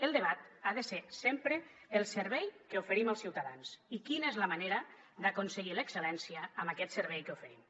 el debat ha de ser sempre el servei que oferim als ciutadans i quina és la manera d’aconseguir l’excel·lència amb aquest servei que oferim